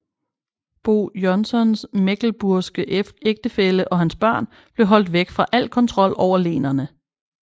Bo Jonssons mecklenburgske ægtefælle og hans børn blev holdt væk fra al kontrol over lenene